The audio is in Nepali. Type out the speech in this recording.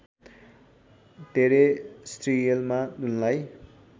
टेरेस्ट्रियलमा उनलाई